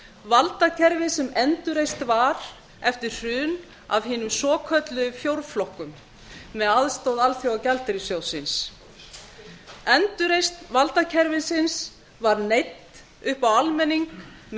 valdakerfi sem endurreist var eftir hrun af hinum svokölluðum fjórflokkum með aðstoð alþjóðagjaldeyrissjóðsins endurreisn valdakerfisins var neytt upp á almenning með